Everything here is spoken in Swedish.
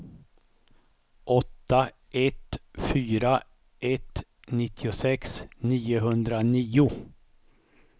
åtta ett fyra ett nittiosex niohundranio